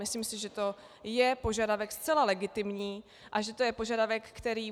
Myslím si, že to je požadavek zcela legitimní a že to je požadavek, který...